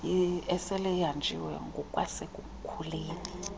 esele ihanjiwe ngokwasekukhuleni